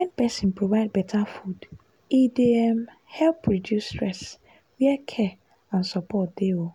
wen person provide better food e dey um help reduce stress where care and support dey. um